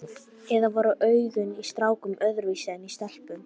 Eða voru augun í strákum öðruvísi en í stelpum?